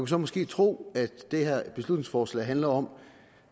så måske tro at det her beslutningsforslag handler om